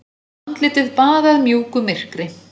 Andlitið baðað mjúku myrkri.